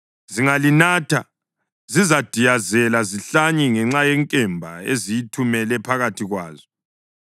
Zingalinatha, zizadiyazela zihlanye ngenxa yenkemba engizayithumela phakathi kwazo.”